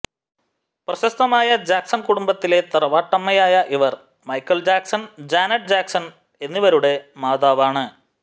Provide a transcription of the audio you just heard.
പ്രശസ്തമായ ജാക്സൺ കുടുംബത്തിലെ തറവാട്ടമ്മയായ ഇവർ മൈക്കൽ ജാക്സൺ ജാനറ്റ് ജാക്സൺ എന്നിവരുടെ മാതാവാണ്